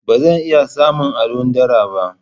Ba zan iya samun allon dara ba.